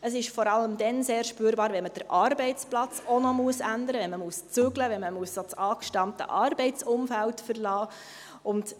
Es ist vor allem dann sehr spürbar, wenn man auch den Arbeitsplatz noch ändern muss, wenn man umziehen muss, wenn man das angestammte Arbeitsumfeld verlassen muss.